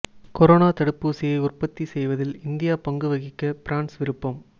corona தடுப்பூசியை உற்பத்தி செய்வதில் இந்தியா பங்கு வகிக்க பிரான்ஸ் விருப்பம்